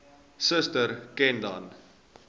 suster ken dan